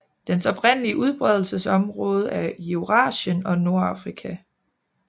Dens oprindelige udbredelsesområde er Eurasien og Nordafrika